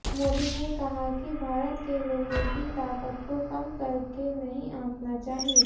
मोदी ने कहा कि भारत के लोगों की ताकत को कम करके नहीं आंकना चाहिए